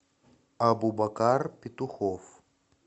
абубакар петухов